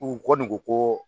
U kɔni ko ko